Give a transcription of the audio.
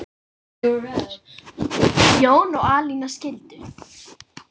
Jón og Alina skildu.